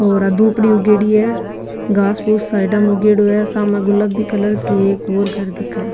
और आ दूबड़ी उगेड़ी है घास पूस साइडा में उगेडो है सामने गुलाबी कलर की एक और घर दिखे है।